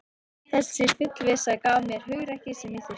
Þessi fullvissa gaf mér hugrekkið sem ég þurfti.